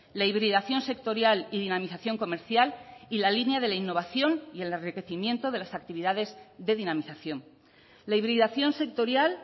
la hibridación sectorial y dinamización comercial y la línea de la innovación y el enriquecimiento de las actividades de dinamización la hibridación sectorial